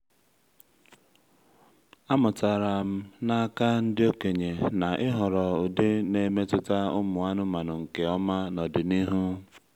amụtara m n’aka ndị okenye na ịhọrọ ụdị na-emetụta ụmụ anụmanụ nke ọma n’ọdịnihu